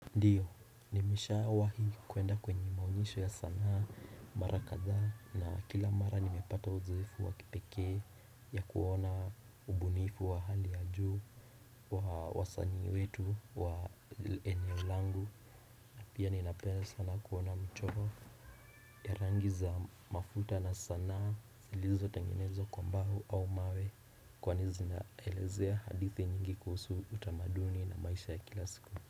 Ndiyo nimisha wahi kuenda kwenye maonesho ya sanaa mara katha na kila mara nimepata uzofu wa kipekee ya kuona ubunifu wa hali ya juu wa sani wetu wa eneolangu Pia ninapena sanaa kuona mchoro ya rangi za mafuta na sanaa silizo tengenezo kwambahu au mawe kwani zinaelezea hadithi nyingi kuhusu utamaduni na maisha ya kila siku.